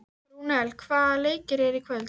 Rúnel, hvaða leikir eru í kvöld?